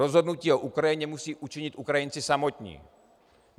Rozhodnutí o Ukrajině musí učinit Ukrajinci samotní.